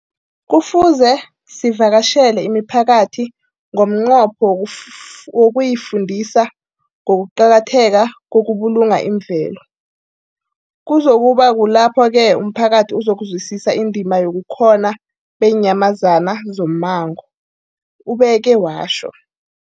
Kufuze sivakatjhele imiphakathi ngomnqopho wokuyifundisa ngokuqakatheka kokubulunga imvelo. Kuzoku ba kulapho-ke umphakathi uzokuzwisisa indima yobukhona beenyamazana zommango, ubeke watjho.